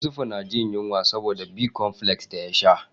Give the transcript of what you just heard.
Yusufu na jin yunwa saboda Bicomfles da ya sha.